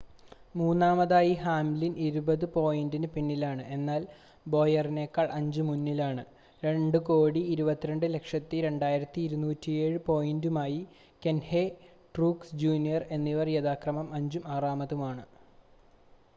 മൂന്നാമതായി ഹാംലിൻ ഇരുപത് പോയിൻ്റ് പിന്നിലാണ് എന്നാൽ ബോയറിനേക്കാൾ 5 മുന്നിലാണ് 2,220 2,207 പോയിൻ്റുമായി കഹ്നെ ട്രൂക്സ് ജൂനിയർ എന്നിവർ യഥാക്രമം അഞ്ചും ആറാമതുമാണ്